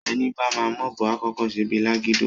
Èní bá má m'òbò àkókó sé bí lágidó,